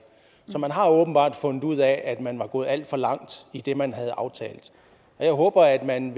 så man har åbenbart fundet ud af at man var gået alt for langt i det man havde aftalt og jeg håber at man